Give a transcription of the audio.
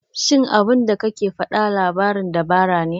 Shin abinda kake faɗa labarin dabara ne?